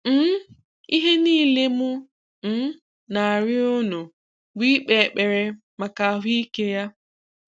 um Ihe niilè m um na-àrị̀ọ̀ unu bụ̀ ị̀kpè ekpere maka àhụ́ ike ya.